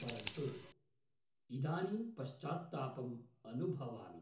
परन्तु, इदानीं पश्चात्तापम् अनुभवामि।